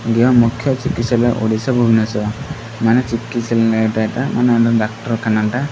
ଜ୍ଞ ମୁଖ୍ୟ ଚିକିତ୍ସଜ୍ଞ ଓଡ଼ିଶା ଭୁବନେଶ୍ଵର ମାନେ ଏଟା ମାନେ ଆମ ଡାକ୍ତରଖାନ ଟା।